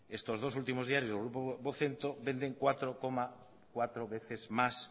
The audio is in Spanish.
estos dos últimos diarios del grupo vocento venden cuatro coma cuatro veces más